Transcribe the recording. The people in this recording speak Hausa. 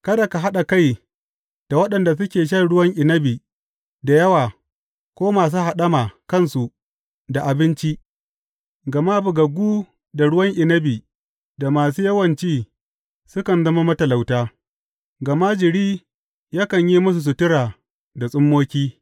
Kada ka haɗa kai da waɗanda suke shan ruwan inabi da yawa ko masu haɗama kansu da abinci, gama bugaggu da ruwan inabi da masu yawan ci sukan zama matalauta, gama jiri yakan yi musu sutura da tsummoki.